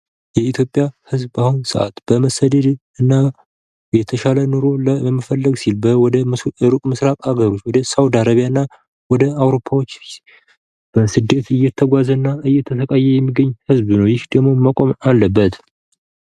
የኢትዮጵያ ህዝብ በአሁኑ ሰዓት በመሰደድ እና የተሻለን ኑሮ ለመፈለግ ሲል ወደ ሩቅ ምስራቅ አገሮች ወደ ሳዉዲ አረቢያ እና ወደ አዉሮፓዎች በስደት እየተጓዘ እና እየተሰቃየ የሚገኝ ህዝብ ነዉ። ይህ ደግሞ መቆም አለበት።